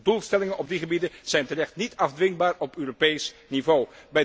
Doelstellingen op die gebieden zijn terecht niet afdwingbaar op Europees niveau.